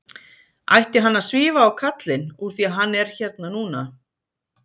Ætti hann að svífa á kallinn úr því að hann er hérna núna?